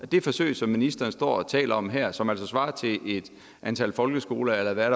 det forsøg som ministeren står og taler om her og som altså størrelsesmæssigt svarer til det antal folkeskoler der er